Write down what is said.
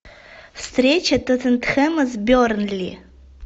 встреча тоттенхэма с бернли